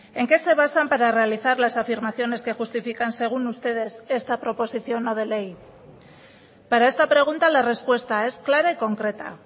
en qué se basan para realizar las afirmaciones que justifican según ustedes esta proposición no de ley para esta pregunta la respuesta es clara y concreta